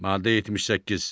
Maddə 78.